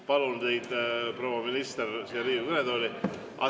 Palun teid, proua minister, siia Riigikogu kõnetooli.